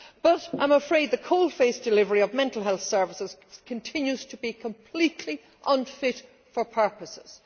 But I am afraid the coalface delivery of mental health services continues to be completely unfit for purposes.